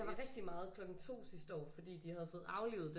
Der var rigtig meget klokken 2 sidste år fordi de havde fået aflivet den